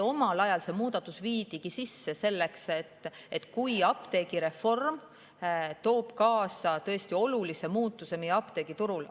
Omal ajal see muudatus viidigi sisse selleks juhuks, kui apteegireform toob kaasa olulise muutuse meie apteegiturul.